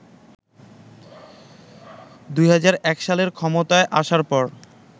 ২০০১ সালে ক্ষমতায় আসার পর